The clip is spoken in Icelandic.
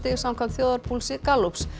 samkvæmt þjóðarpúlsi Gallups